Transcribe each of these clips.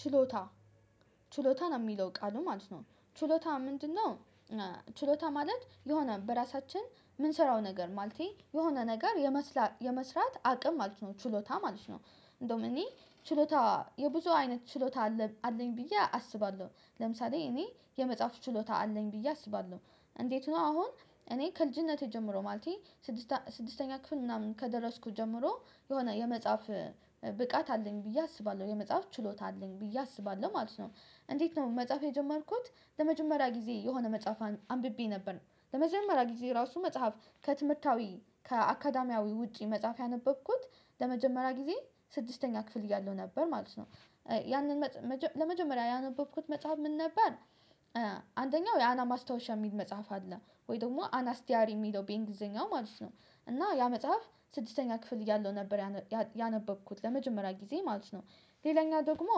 ችሎታ ችሎታ ነው የሚለው ቃሉ ማለት ነው ችሎታ ምንድነው? ችሎታ ማለት የሆነ በራሳችን የምንሰራው ነገር ማለቴ የሆነ ነገር የመስራት አቅም ማለት ነው ችሎታ ማለት ነው። እንደውም እኔ ችሎታ የብዙ አይነት ችሎታ አለኝ ብዬ አስባለሁ ለምሳሌ እኔ የመጽሐፉ ችሎታ አለኝ ብዬ አስባለሁ። እንዴት ነው አሁን እኔ ከልጅነቴ ጀምሮ ማለቴ ስድስተ ስድስተኛ ክፍል ምናምን ከደረስኩት ጀምሮ የሆነ የመጽሐፍ ብቃት አለኝ ብዬ አስባለሁ የመጽሐፍ ችሎት አለኝ ብዬ አስባለሁ ማለት ነው። እንዴት ነው መጽሐፍ የጀመርኩት ለመጀመሪያ ጊዜ የሆነ መጽሐፍ አንብቤ ነበር ለመጀመሪያ ጊዜ ራሱ መጽሐፍ ከትምህርታዊ ከአካዳሚያዊ ውጪ መጽሐፍ ያነበብኩት ለመጀመሪያ ጊዜ ስድስተኛ ክፍል እያለሁ ነበር ማለት ነው። ያንን ለመጀመሪያ ያነበብኩት መጽሐፍ ምን ነበር? አንደኛው የአና ማስታወሻ የሚል መጽሐፍ አለ ወይ ደግሞ አና አናስዲያሪ የሚለው ቤንግሊዘኛው ማለት ነው። እና ያ መጽሐፍ ስድስተኛ ክፍል እያለሁ ነበር ያን ያነበብኩት ለመጀመሪያ ጊዜ ማለት ነው። ሌላኛ ደግሞ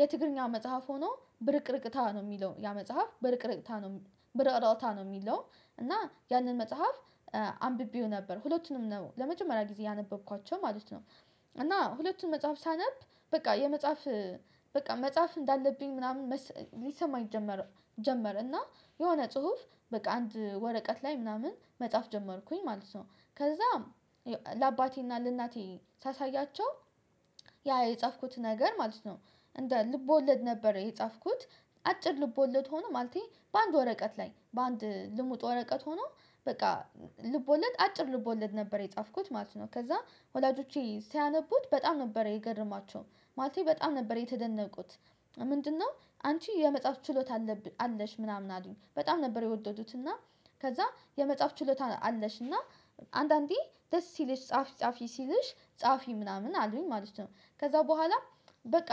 የትግርኛ መጽሐፍ ሆኖ ብርቅርቅታ ነው የሚለው ያ መጽሐፍ በረቅረቅታ ነው። በረእራቅታ ነው የሚለው እና ያንን መጽሐፍ አንብቤው ነበር ሁለቱንም ነው ለመጀመሪያ ጊዜ ያነበብኳቸው ማለት ነው። እና ሁለቱን መጽሐፍ ሳነብ በቃ የመጽሐፍ በቃ መጽሐፍ እንዳለብኝ ምናምን ሊሰማኝ ጀመረ እና የሆነ ጽሁፍ በቃ አንድ ወረቀት ላይ ምናምን መጻፍ ጀመርኩኝ ማለት ነው። ከዛም ለአባቴና ለእናቴ ሳሳያቸው ያ የጻፍኩት ነገር ማለት ነው። እንደ ልቦለድ ነበረ የጻፍኩት አጭር ልቦለት ሆኖ ማለቴ በአንድ ወረቀት ላይ በአንድ ልሙጥ ወረቀት ሆኖ በቃ ልቦለድ አጭር ልቦለድ ነበር የጻፍኩት ማለት ነው ከዛ ወላጆቼ ሲያነቡት በጣም ነበረ የገረማቸውም በጣም ነበር የተደነቁት። ምንድነው አንቺ የመጽሐፍ ችሎታ አለች ምናምን አሉኝ በጣም ነበር የወደዱት እና ከዛ የመጽሐፍ ችሎታ አለሽና አንዳንዴ ደስ ሲልሽ ጻፊ ጻፊ ሲልሽ ጻፊ ምናምን አሉኝ ማለት ነው። ከዛ በኋላ በቃ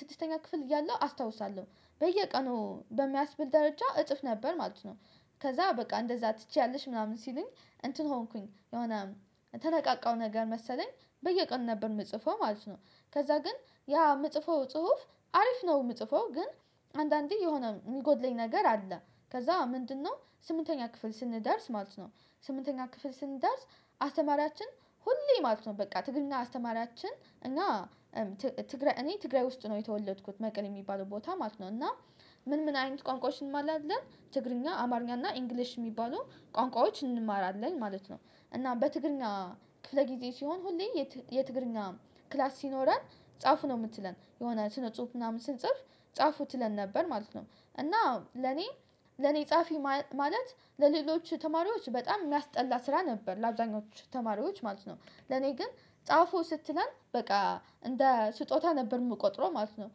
ስድስተኛ ክፍል እያለሁ አስታውሳለሁ በየቀኑ በሚያስብል ደረጃ እጥፍ ነበር ማለት ነው። ከዛ በቃ እንደዛ ትችያለሽ ምናምን ሲሉኝ እንትን ሆንኩኝ የሆነ ተነቃቃው ነገር መሰለኝ በየቀኑ ነበር የምጽፈው ማለት ነው። ከዛ ግን ያ የምጽፈው ጽሁፍ አሪፍ ነው የምጽፈው ግን አንዳንዴ የሆነ የሚጎድለኝ ነገር አለ። ከዛ ምንድነው ስምንተኛ ክፍል ስንደርስ ማለት ነው። ስምንተኛ ክፍል ስንደርስ አስተማሪያችን ሁሌ ማለት ነው በቃ ትግርኛ አስተማሪያችን እና ትግራይ እኔ ትግራይ ውስጥ ነው የተወለድኩት መቀሌ የሚባል ቦታ ማለት ነው። እና ምን ምን አይነት ቋንቋዎችን አንማራለን ትግርኛ አማርኛ እና ኢንግሊሽ የሚባሉ ቋንቋዎች እንማራለን ማለት ነው። እና በትግርኛ ክፍለ ጊዜ ሲሆን ሁሌ የትግርኛ ክላስ ሲኖረን ጻፉ ነው የምትለን የሆነ ጽሁፍ ምናምን ስንጽፍ ጻፉ ትለን ነበር ማለት ነው። እና ለኔ ለኔ ጻፊ ማለት ለሌሎች ተማሪዎች በጣም የሚያስጠላ ስራ ነበር ለአብዛኞቹ ተማሪዎች ማለት ነው። ለኔ ግን ጻፉ ስትለን በቃ እንደ ስጦታ ነበር የምቆጥረው ማለት ነው።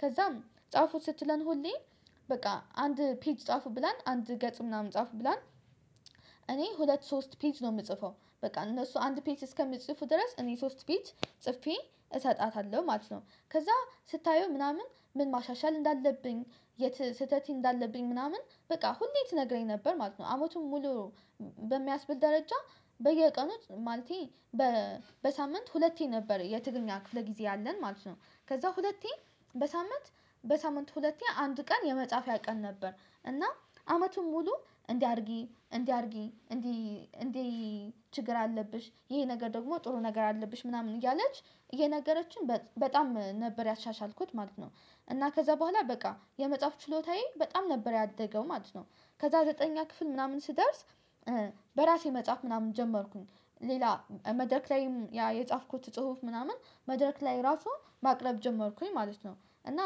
ከዛም ጻፉት ስትለን ሁሌ በቃ አንድ ፔጅ ጻፉ ብላን አንድ ገጽ ምናምን ጻፉ ብላን። እኔ ሁለት ሶስት ፔጅ ነው የምጽፈው በቃ እነሱ አንድ ፔጅ እስከምጽፉ ድረስ እኔ ሶስት ፔጅ ጽፌ እሰጣታለሁ ማለት ነው። ከዛ ስታየው ምናምን ምን ማሻሻል እንዳለብኝ የት ስህተቴ እንዳለብኝ ምናምን በቃ ሁሌ ትነግረኝ ነበር ማለት ነው። ዓመቱን ሙሉ በሚያስብል ደረጃ በየቀኑት ማለቴ በሳምንት ሁለቴ ነበር የትግኛ ክፍለ ጊዜ አለን ማለት ነው። ከዛ ሁለቴ በሳምንት በሳምንት ሁለቴ አንድ ቀን የመጽሐፍ ያቀን ነበር። እና አመቱን ሙሉ እንዲህ አድርጊ እንዲህ አድርጊ እንዲህ እንዲህ ችግር አለብሽ ይሄ ነገር ደግሞ ጥሩ ነገር አለብሽ ምናምን እያለች የነገረችን በጣም ነበር ያሻሻልኩት ማለት ነው። እና ከዛ በኋላ በቃ የመጽሐፍ ችሎታዬ በጣም ነበር ያደገው ማለት ነው። ከዛ ዘጠነኛ ክፍል ምናምን ስደርስ በራሴ መጽሐፍ ምናምን ጀመርኩኝ። ሌላ መድረክ ላይም ያ የጻፍኩት ጽሁፍ ምናምን መድረክ ላይ ራሱ ማቅረብ ጀመርኩኝ ማለት ነው። እና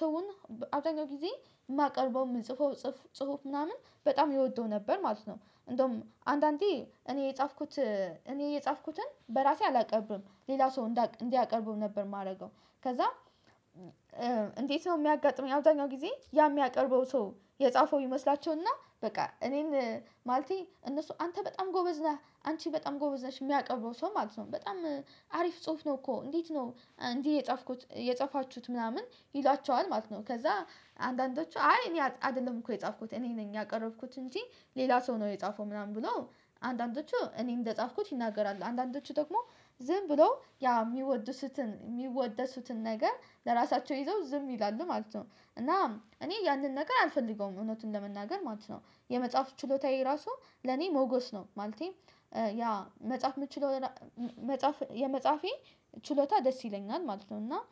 ሰውን አብዛኛው ጊዜ የማቀርበው የምንጽፈው ጽሁፍ ምናምን በጣም ይወደው ነበር ማለት ነው። እንደውም አንዳንዴ እኔ የጻፍኩት እኔ የጻፍኩትን በራሴ አላቀብርም ሌላ ሰው እንዲያቀርቡ እንዲያቀርበው ነበር የማደርገው። ከዛ። እንዴት ነው የሚያጋጥመኝ አብዛኛው ጊዜ ያ የሚያቀርበው ሰው የጻፈው ይመስላቸውና በቃ እኔን ማለቴ እነሱ አንተ በጣም ጎበዝ ነህ አንቺ በጣም ጎበዝ ነሽ የሚያቀብረው ሰው ማለት ነው። በጣም አሪፍ ጽሁፍ ነው እኮ እንዴት ነው እንዲህ የጻፍኩት የጻፋችሁት ምናምን ይሏችኋል ማለት ነው። ከዛ አንዳንዶቹ አይ እኔ አይደለም እኮ የጻፍኩት እኔ ነኝ ያቀረብኩት እንጂ ሌላ ሰው ነው የጻፈው ምናምን ብሎ። አንዳንዶቹ እኔ እንደጻፍኩት ይናገራሉ አንዳንዶቹ ደግሞ ዝም ብለው ያ የሚወድሱትን የሚወደሱትን ነገር ለራሳቸው ይዘው ዝም ይላሉ ማለት ነው። እና እኔ ያንን ነገር አልፈልገውም እውነቱን ለመናገር ማለት ነው የመጽሐፍ ችሎታዬ ራሱ ለኔ ሞጎስ ነው ማለቴ። ያ መጽሐፍ የምችለው መጽሐፍ የመጽሐፌ ችሎታ ደስ ይለኛል ማለት ነው። እና